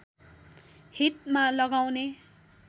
हितमा लगाउने